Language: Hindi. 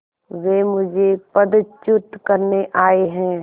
वे मुझे पदच्युत करने आये हैं